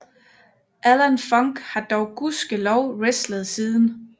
Alan Funk har dog gudskelov wrestlet siden